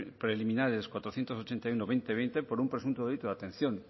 preliminares cuatrocientos ochenta y uno barra dos mil veinte por un presunto delito de atención